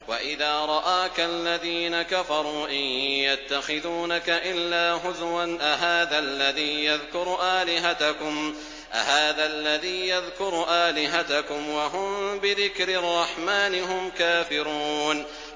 وَإِذَا رَآكَ الَّذِينَ كَفَرُوا إِن يَتَّخِذُونَكَ إِلَّا هُزُوًا أَهَٰذَا الَّذِي يَذْكُرُ آلِهَتَكُمْ وَهُم بِذِكْرِ الرَّحْمَٰنِ هُمْ كَافِرُونَ